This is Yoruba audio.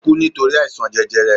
O ku nitori àìsàn jẹjẹrẹ